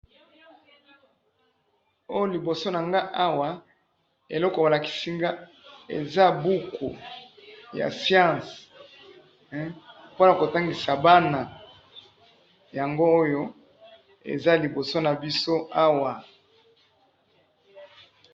oyo liboso na ngai awa, eloko ba lakisi ngai eza buku ya science, pona ko tangisa bana, yango oyo eza liboso na ngai awa